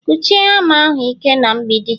Kụsie hama ahụ ike na mgbidi